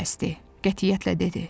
qətiyyətlə dedi: